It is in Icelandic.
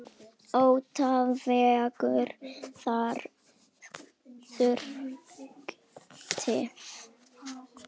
Ótti vegur þar þungt.